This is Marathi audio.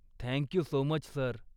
Thank you so much, sir.